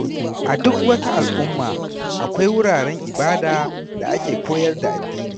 A duk wata al’umma, akwai wuraren ibada da ake koyar da addini.